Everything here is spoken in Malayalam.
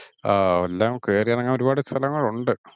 ആഹ് എല്ലാം കേറി ഇറങ്ങാൻ ഒരുപാടു സ്ഥലങ്ങൾ ഉണ്ട്.